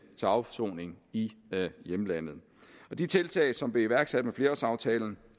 til afsoning i hjemlandet de tiltag som blev iværksat i flerårsaftalen